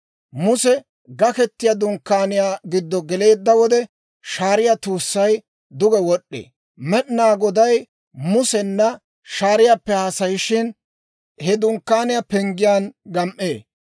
Muse Gakettiyaa Dunkkaaniyaa giddo geleedda wode, shaariyaa tuussay duge wod'd'ee; Med'inaa Goday Musena shaariyaappe haasayishin, he dunkkaaniyaa penggiyaan gam"ee.